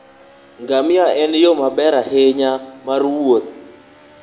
Ngamia en yo maber ahinya mar wuoth.